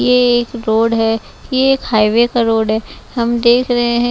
यह एक रोड है यह एक हाईवे का रोड है हम देख रहे हैं।